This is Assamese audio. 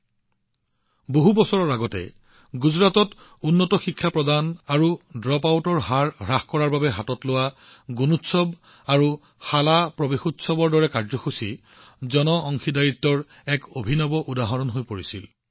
বহু বছৰ আগতে গুণোৎসৱ আৰু শালা প্ৰৱেশোৎসৱৰ দৰে কাৰ্যসূচীবোৰ উন্নত শিক্ষা প্ৰদান আৰু ড্ৰপআউটৰ হাৰ হ্ৰাস কৰাৰ বাবে গুজৰাটত জনসাধাৰণৰ অংশগ্ৰহণৰ এক আশ্চৰ্যকৰ উদাহৰণ হৈ পৰিছিল